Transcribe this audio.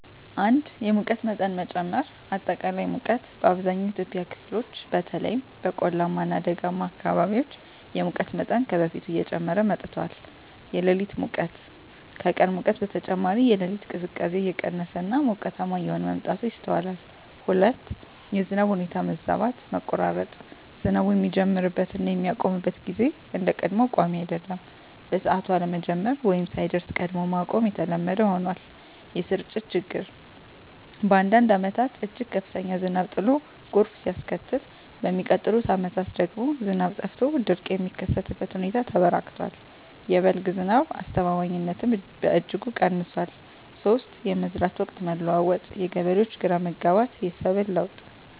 1)የሙቀት መጠን መጨመር >>አጠቃላይ ሙቀት: በአብዛኛው የኢትዮጵያ ክፍሎች (በተለይም በቆላማ እና ደጋማ አካባቢዎች) የሙቀት መጠን ከበፊቱ እየጨመረ መጥቷል። >>የሌሊት ሙቀት: ከቀን ሙቀት በተጨማሪ፣ የሌሊት ቅዝቃዜ እየቀነሰ እና ሞቃታማ እየሆነ መምጣቱ ይስተዋላል። 2)የዝናብ ሁኔታ መዛባት >>መቆራረጥ: ዝናቡ የሚጀምርበት እና የሚያቆምበት ጊዜ እንደ ቀድሞው ቋሚ አይደለም። በሰዓቱ አለመጀመር ወይም ሳይደርስ ቀድሞ ማቆም የተለመደ ሆኗል። >>የስርጭት ችግር: በአንዳንድ ዓመታት እጅግ ከፍተኛ ዝናብ ጥሎ ጎርፍ ሲያስከትል፣ በሚቀጥሉት ዓመታት ደግሞ ዝናብ ጠፍቶ ድርቅ የሚከሰትበት ሁኔታ ተበራክቷል። የ"በልግ" ዝናብ አስተማማኝነትም በእጅጉ ቀንሷል። 3)የመዝራት ወቅት መለዋወጥ: የገበሬዎች ግራ መጋባት፣ የሰብል ለውጥ